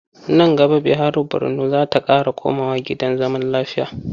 Nan gaba Bihari Borno za ta ƙara komawa gidan zaman lafiya.